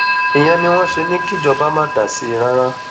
ìyẹn ni wọn ṣe ní kíjọba má dá sí i rárá